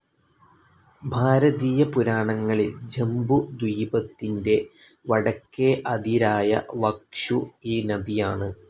ഭാരതീയപുരാണങ്ങളിൽ ജംബുദ്വീപത്തിന്റെ വടക്കേ അതിരായ വക്ഷു ഈ നദിയാണ്.